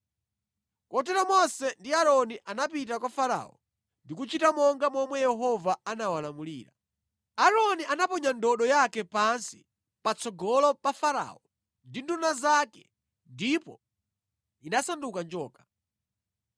Kotero Mose ndi Aaroni anapita kwa Farao ndi kuchita monga momwe Yehova anawalamulira. Aaroni anaponya ndodo yake pansi patsogolo pa Farao ndi nduna zake ndipo inasanduka njoka.